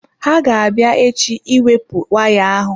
Ha ga-abịa echi iwepụ waya ahụ.